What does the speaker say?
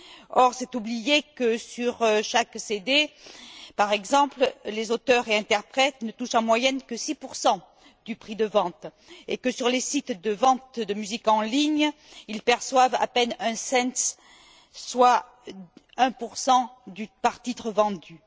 Or, c'est oublier que, sur chaque CD, par exemple, les auteurs et interprètes ne touchent, en moyenne, que 6 du prix de vente et que, sur les sites de vente de musique en ligne ils perçoivent à peine un centime, soit 1 par titre vendu.